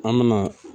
An me na